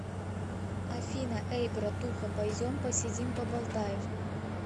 афина эй братуха пойдем посидим поболтаем